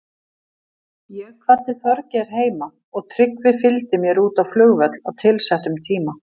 Ég kvaddi Þorgeir heima og Tryggvi fylgdi mér út á flugvöll á tilsettum tíma.